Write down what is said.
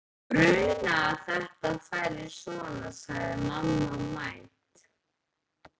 Mig grunaði að þetta færi svona sagði mamma mædd.